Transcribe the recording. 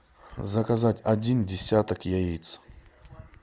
заказать один десяток яиц